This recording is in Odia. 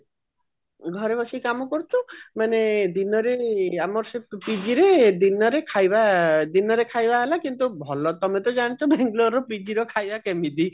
ଘରେ ବସି କାମ କରିଚୁ ମାନେ ଦିନରେ ଆମର ସେ PG ରେ ଦିନରେ ଖାଇବା ଦିନରେ ଖାଇବା ହେଲା ଭଲ ତମେ ତ ଜାଣିଛ ଦିନର PG ର ଖାଇବା କେମିତି